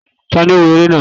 taní o wó eré naa?